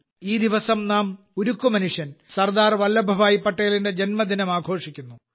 ഈ ദിവസം നാം ഉരുക്കുമനുഷ്യൻ സർദാർ വല്ലഭ്ഭായ് പട്ടേലിന്റെ ജന്മദിനം ആഘോഷിക്കുന്നു